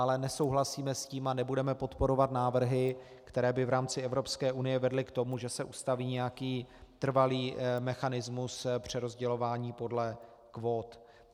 Ale nesouhlasíme s tím a nebudeme podporovat návrhy, které by v rámci Evropské unie vedly k tomu, že se ustaví nějaký trvalý mechanismus přerozdělování podle kvót.